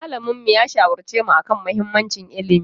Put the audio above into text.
Malaminmu ya shawarce mu a kan mahimmancin ilimi.